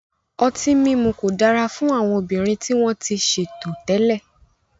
Ọtí mímu kò dára fún àwọn obìnrin tí wọ́n ti ṣètò tẹ́lẹ̀.